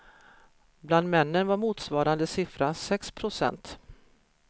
Bland männen var motsvarande siffra sex procent.